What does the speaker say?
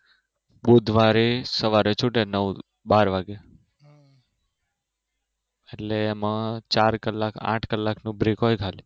બુધવારે સવારે છૂટે નવ બાર વાગે એટલે એમાં ચાર કલાક આઠ કલાકનો બ્રેક હોય ખાલી